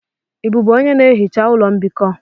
Ị bụbu onye na-ehicha ụlọ mbikọ?